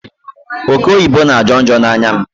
Oke oyibo na ajo njo n'anya m